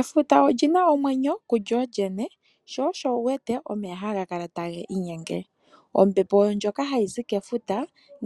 Efuta olina omwenyo kulyolyene, na osho uwete omeya haga kala tagi inyenge. Ombepo wo ndjoka hayi zi kefuta,